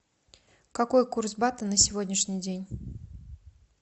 какой курс бата на сегодняшний день